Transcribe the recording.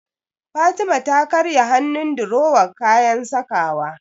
Fatima ta karya hannun durowar kayan sakawa.